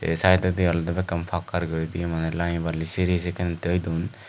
aye siteoidi olay akan pakar guri lamibarly seri sekane toidone.